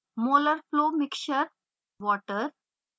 molar flow mixture/water